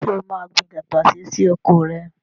Ṣé o máa gbin tàtàṣé sí oko rẹ?